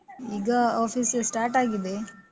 ಈಗ office start ಆಗಿದೆ.